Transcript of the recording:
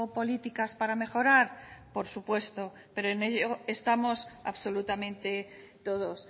políticas para mejorar por supuesto pero en ello estamos absolutamente todos